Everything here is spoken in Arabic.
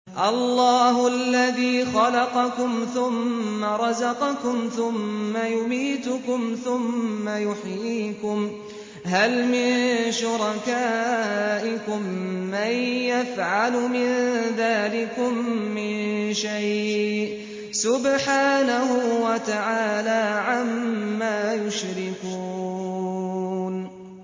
اللَّهُ الَّذِي خَلَقَكُمْ ثُمَّ رَزَقَكُمْ ثُمَّ يُمِيتُكُمْ ثُمَّ يُحْيِيكُمْ ۖ هَلْ مِن شُرَكَائِكُم مَّن يَفْعَلُ مِن ذَٰلِكُم مِّن شَيْءٍ ۚ سُبْحَانَهُ وَتَعَالَىٰ عَمَّا يُشْرِكُونَ